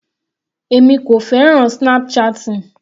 Èmi kò fẹ́ràn snap chatting.